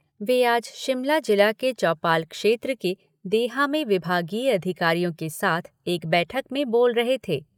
वे आज शिमला जिला के चौपाल क्षेत्र के देहा में विभागीय अधिकारियों के साथ एक बैठक में बोल रहे थे।